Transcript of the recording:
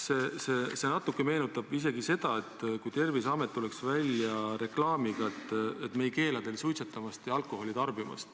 Seda võib isegi võrrelda võimalusega, et Terviseamet tuleb välja uudisega, et me ei tauni suitsetamist ja alkoholi tarbimist.